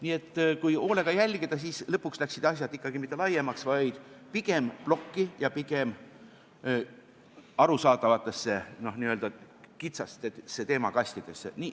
Nii et kui hoolega jälgida, siis lõpuks läksid asjad ikkagi mitte laiemaks, vaid pigem plokki ja pigem arusaadavatesse n-ö kitsastesse teemakastidesse.